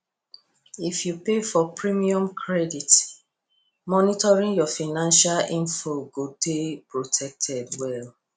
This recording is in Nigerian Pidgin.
if you pay for premium credit monitoring your financial info go dey protected well